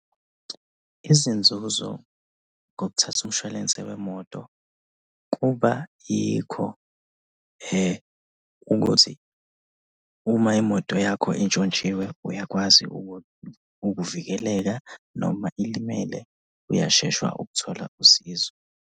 Izinzuzo ngokuthatha umshwalense wemoto kuba yikho ukuthi uma imoto yakho intshontshiwe uyakwazi ukuvikeleka noma ilimele uyashesha ukuthola usizo.